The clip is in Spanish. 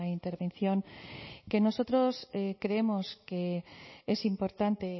intervención que nosotros creemos que es importante